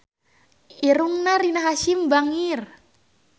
Irungna Rina Hasyim bangir